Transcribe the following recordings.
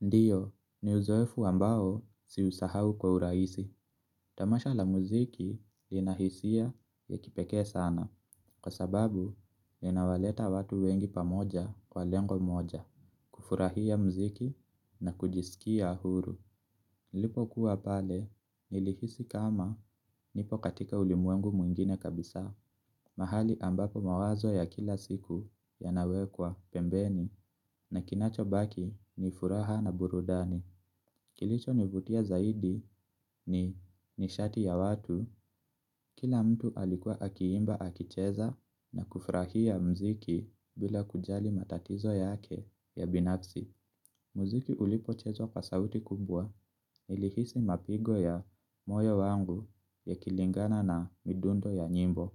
Ndiyo, ni uzoefu ambao siusahau kwa uraisi. Tamasha la muziki inahisia ya kipeke sana. Kwa sababu, inawaleta watu wengi pamoja kwa lengo moja. Kufurahia muziki na kujisikia huru. Lipo kuwa pale, nilihisi kama nipo katika ulimwengu mwingine kabisa. Mahali ambapo mawazo ya kila siku ya nawekwa pembeni. Na kinacho baki ni furaha na burudani. Kilicho nivutia zaidi ni nishati ya watu, kila mtu alikuwa akiimba akicheza na kufurahia mziki bila kujali matatizo yake ya binafsi. Mziki ulipo chezwa kwa sauti kubwa nilihisi mapigo ya moyo wangu ya kilingana na midundo ya nyimbo.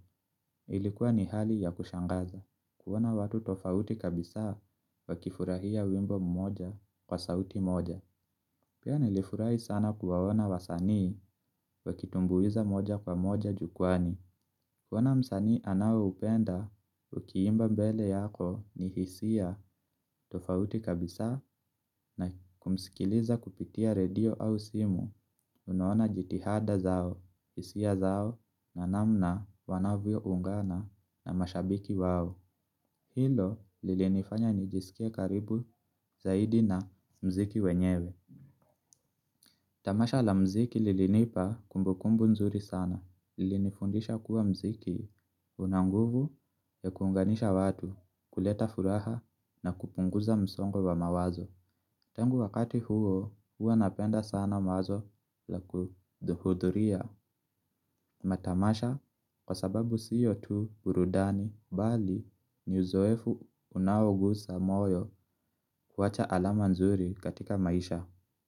Ilikuwa ni hali ya kushangaza. Kuona watu tofauti kabisa wa kifurahia wimbo mmoja kwa sauti moja. Pia nilifurai sana kuwaona wasanii wakitumbuiza moja kwa moja jukwani. Kuona msanii anaoupenda, ukiimba mbele yako ni hisia tofauti kabisa na kumsikiliza kupitia redio au simu. Unuona jitihada zao, hisia zao, na namna wanavyo ungana na mashabiki wao. Hilo lilinifanya nijisike karibu zaidi na mziki wenyewe. Tamasha la mziki lilinipa kumbukumbu nzuri sana, lilinifundisha kuwa mziki unanguvu ya kuunganisha watu kuleta furaha na kupunguza msongo wa mawazo. Tangu wakati huo huwa napenda sana mawazo la kuduhuduria. Matamasha kwa sababu sio tu burudani bali ni uzoefu unaogusa moyo kuwacha alama nzuri katika maisha.